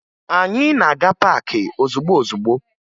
Anyị na-aga paakị ozugbo ozugbo